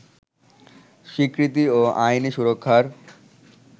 স্বীকৃতি ও আইনি সুরক্ষার